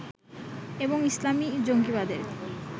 এবং ইসলামী জঙ্গীবাদের